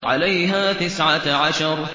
عَلَيْهَا تِسْعَةَ عَشَرَ